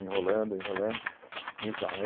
Enrolando, enrolando. Então